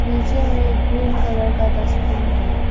नीचे मे एक ग्रीन कलर का डस्टबीन है।